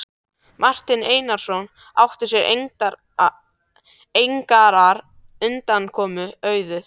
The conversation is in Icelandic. Marteinn Einarsson átti sér engrar undankomu auðið.